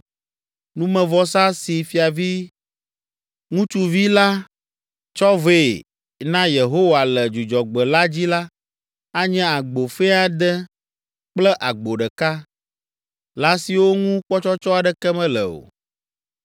Numevɔsa si fiavi ŋutsuvi la tsɔ vɛ na Yehowa le Dzudzɔgbe la dzi la, anye agbo fɛ̃ ade kple agbo ɖeka, lã siwo ŋu kpɔtsɔtsɔ aɖeke mele o.